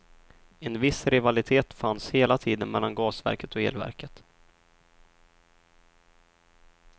En viss rivalitet fanns hela tiden mellan gasverket och elverket.